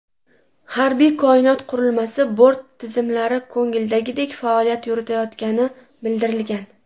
Harbiy koinot qurilmasi bort tizimlari ko‘ngildagidek faoliyat yuritayotgani bildirilgan.